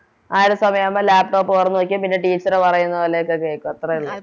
ആ ഒരു സമയാകുമ്പോ Laptop തൊറന്ന് വെക്കും പിന്നെ Teacher പറയുന്നപോലെയൊക്കെ കേക്കും അത്രോള്ളു